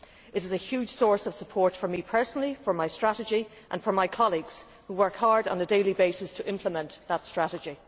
It is a huge source of support for me personally, for my strategy and for my colleagues, who work hard on a daily basis to implement that strategy.